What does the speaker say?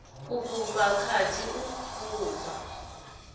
u fhufha khadi u fhufha